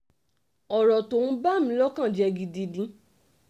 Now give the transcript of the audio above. ọ̀rọ̀ tó ń bà ní lọ́kàn jẹ́ gidigidi ni